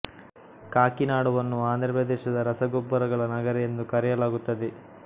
ಕಾಕಿನಾಡವನ್ನು ಆಂಧ್ರ ಪ್ರದೇಶದ ರಸ ಗೊಬ್ಬರಗಳ ನಗರ ಎಂದೇ ಕರೆಯಲಾಗುತ್ತದೆ